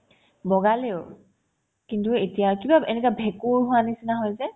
বগালেও কিন্তু এতিয়া কিবা এনেকুৱা ভেঁকুৰ হোৱাৰ নিচিনা হৈছে